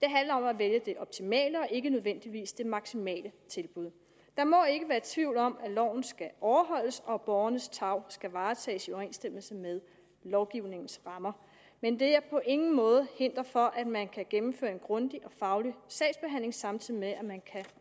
det handler om at vælge det optimale og ikke nødvendigvis det maksimale tilbud der må ikke være tvivl om at loven skal overholdes og at borgernes tarv skal varetages i overensstemmelse med lovgivningens rammer men det er på ingen måde hinder for at man kan gennemføre en grundig og faglig sagsbehandling samtidig med at man kan